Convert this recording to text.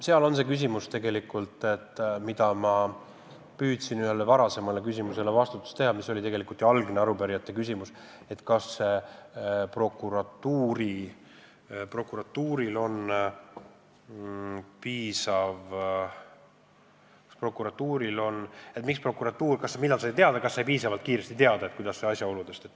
Siin on küsimus tegelikult selles ja see oli ka algne arupärijate küsimus, millal sai prokuratuur asjaoludest teada.